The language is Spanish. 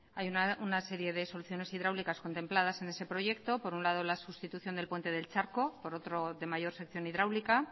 hay una serie de soluciones hidráulicas contempladas en ese proyecto por un lado la sustitución del puente del charco por otro de mayor sección hidráulica